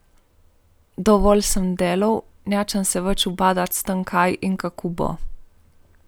Dovolj sem delal, nočem se več ubadati s tem, kaj in kako bo.